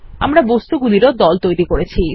আমরা বস্তুগুলির ও দল তৈরি করেছি